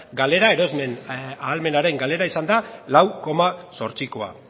galera erosmen ahalmenaren galera izan da lau koma zortzikoa